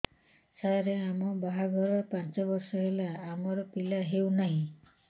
ସାର ଆମ ବାହା ଘର ପାଞ୍ଚ ବର୍ଷ ହେଲା ଆମର ପିଲା ହେଉନାହିଁ